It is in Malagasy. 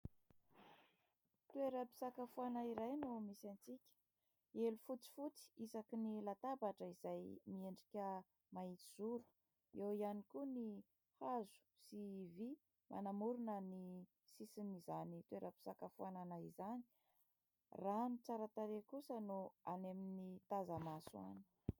Toeram-pisakafoana iray no misy antsika, elo fotsifotsy isaky ny latabatra izay miendrika mahitsy zoro, eo ihany koa ny hazo sy vy manamorona ny sisin'izany toeram-pisakafoanana izany, raha ny tsara tarehy kosa no any amin'ny taza-maso any.